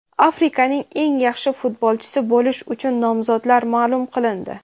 Afrikaning eng yaxshi futbolchisi bo‘lish uchun nomzodlar ma’lum qilindi.